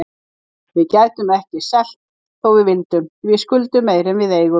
Við gætum ekki selt þó við vildum, því við skuldum meira en við eigum.